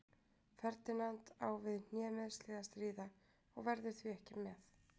Ferdinand á við hnémeiðsli að stríða og verður því ekki með.